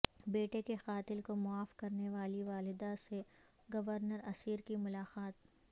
بیٹے کے قاتل کو معاف کرنے والی والدہ سے گورنر عسیر کی ملاقات